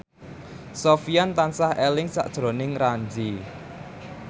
Sofyan tansah eling sakjroning Ramzy